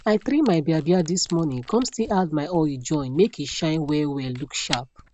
i trim my biabia this morning kon still add my oil join make e shine wellwell look sharp